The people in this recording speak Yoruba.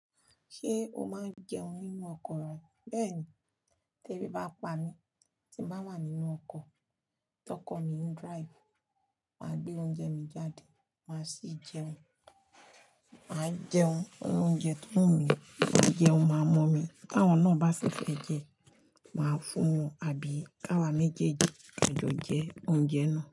Ṣé o máa ń jẹun nínú ọkọ̀ rẹ? Bẹ́ẹ̀ni, tí èbi bá n pa mí tí mo bá wà nínú ọkọ̀, tí ọkọ̀ mi ń drive, màá gbé oúnjẹ mi jáde, màá sì jẹun. Máa jẹun, irú óúnjẹ tó wù mí, máa je máa mọ́ mi. Tí àwọn náà bá sì fẹ́ jẹ, màá fún wọn àbí ká wa méjèèjì jọ jẹ oúnjẹ náà.